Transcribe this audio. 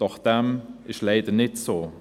Doch dem ist leider nicht so.